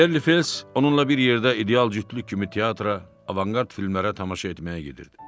Berli Fels onunla bir yerdə ideal cütlük kimi teatra, avanqard filmlərə tamaşa etməyə gedirdi.